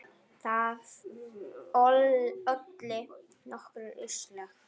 Það olli nokkrum usla.